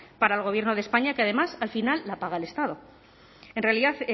para el gobierno de españa que además al final la paga el estado en realidad